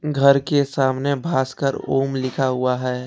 घर के सामने भास्कर ओम लिखा हुआ है।